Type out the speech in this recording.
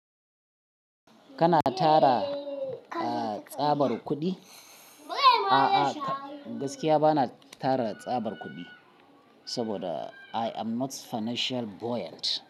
Kana tara, ah, tsabar kuɗi? A'a gaskiya ba na tara tsabar kuɗi. Saboda I am not financial buoyant.